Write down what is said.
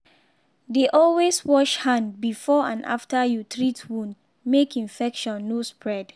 dey always wash hand before and after you treat wound make infection no spread.